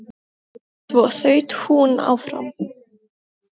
Svo þaut hún áfram.